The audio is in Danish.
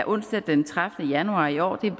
onsdag den tredivete januar i år en